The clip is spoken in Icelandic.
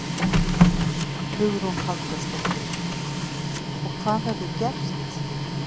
Hugrún Halldórsdóttir: Og hvað verður gert?